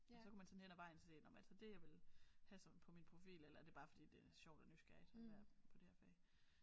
Og så kunne man så hen ad vejen så se om er det så det jeg vil have som på min profil eller er det bare fordi det er sjovt og nysgerrigt at være på det her fag